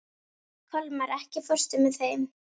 Kolmar, ekki fórstu með þeim?